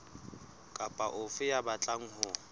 kapa ofe ya batlang ho